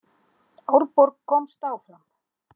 Árborg komst áfram